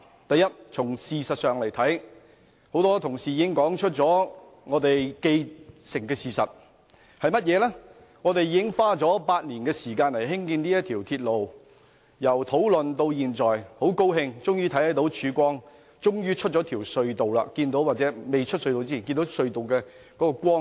第一，從事實來看，多位同事已說出既定事實，就是我們已花了8年時間興建這條鐵路，討論至今，大家很高興終於看到曙光和走出隧道，即使未走出隧道，也看到隧道盡頭的光明。